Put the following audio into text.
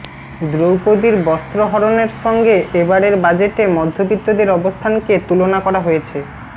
দ্রৌপদীর বস্ত্রহরণের সঙ্গে এবারের বাজেটে মধ্যবিত্তদের অবস্থানকে তুলনা করা হয়েছে